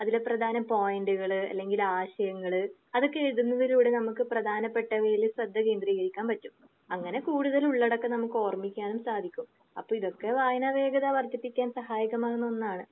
അതിലെ പ്രധാന പോയിന്റുകള് അല്ലെങ്കിൽ ആശയങ്ങള് അതൊക്കെ എഴുതുന്നതിലൂടെ നമുക്ക് പ്രധാനപ്പെട്ട ശ്രദ്ധ കേന്ദ്രീകരിക്കാൻ പറ്റും. അങ്ങനെ കൂടുതൽ ഉള്ളടക്കം നമുക്ക് ഓർമ്മിക്കാനും സാധിക്കും. അപ്പൊ ഇതൊക്കെ വായന വേഗത വർധിപ്പിക്കാൻ സഹായിക്കുന്ന ഒന്നാണ്.